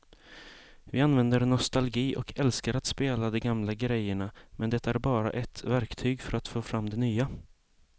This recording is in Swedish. Vi använder nostalgi och älskar att spela de gamla grejerna men det är bara ett verktyg för att få fram det nya.